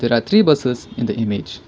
the three buses in the image.